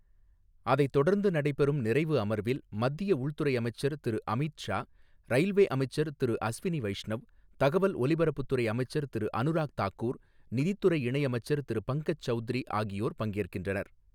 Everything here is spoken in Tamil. அதைத்தொடர்ந்து நடைபெறும் நிறைவு அமர்வில் மத்திய உள்துறை அமைச்சர் திரு அமித் ஷா, ரயில்வே அமைச்சர் திரு அஸ்வினி வைஷ்ணவ், தகவல் ஒலிபரப்புத்துறை அமைச்சர் திரு அனுராக் தாக்கூர், நிதிதுறை இணையமைச்சர் திரு பங்கஜ் சௌத்ரி ஆகியோர் பங்கேற்கின்றனர்.